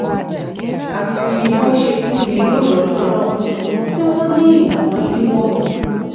àfi bó ṣe tún di lóru ọjọ́ náà tí wọ́n ní nǹkan yíwọ́